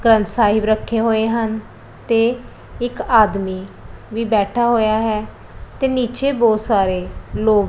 ਗ੍ਰੰਥ ਸਾਹਿਬ ਰੱਖੇ ਹੋਏ ਹਨ ਤੇ ਇੱਕ ਆਦਮੀ ਵੀ ਬੈਠਾ ਹੋਇਆ ਹੈ ਤੇ ਨੀਚੇ ਬੋਹਤ ਸਾਰੇ ਲੋਗ--